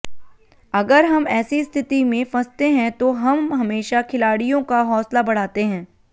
अगर हम ऐसी स्थिति में फंसते हैं तो हम हमेशा खिलाड़ियों का हौसला बढ़ाते हैं